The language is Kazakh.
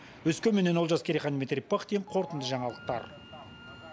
өскеменнен олжас керейхан дмитрий пыхтин қорытынды жаңалықтар